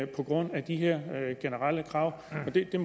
på grund af de her generelle krav